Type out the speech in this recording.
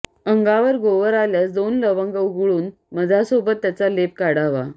अंगावर गोवर आल्यास दोन लवंग उगळून मधासोबत त्याचा लेप काढावा